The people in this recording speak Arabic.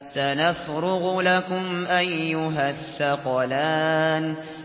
سَنَفْرُغُ لَكُمْ أَيُّهَ الثَّقَلَانِ